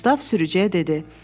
Qustav sürücüyə dedi: